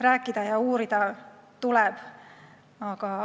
Rääkida ja uurida tuleb.